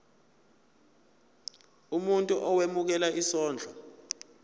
umuntu owemukela isondlo